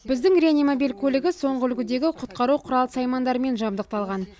біздегі реанимобиль көлігі соңғы үлгідегі құтқару құрал саймандарымен жабдықталған